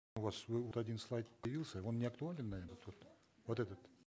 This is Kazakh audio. у вас вы вот один слайд появился он не актуален наверно тут вот этот